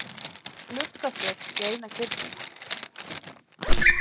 gluggaflöt í eina kirkjuna.